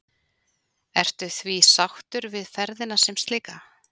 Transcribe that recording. Ertu því sáttur við ferðina sem slíka?